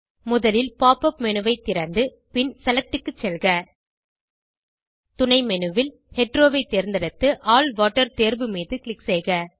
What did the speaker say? முதலில் pop up menu ஐ திறந்து பின் செலக்ட் க்கு செல்க துணை menu ல் ஹெட்டெரோ ஐ தேர்ந்தெடுத்து ஆல் வாட்டர் தேர்வு மீது க்ளிக் செய்க